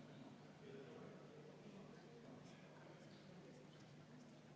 Kui me nüüd vaatame, millest juttu on, siis paneb ka selle punkti sisu äärmiselt imestama.